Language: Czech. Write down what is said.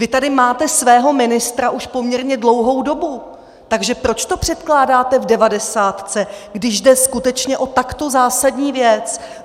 Vy tady máte svého ministra už poměrně dlouhou dobu, takže proč to předkládáte v devadesátce, když jde skutečně o takto zásadní věc?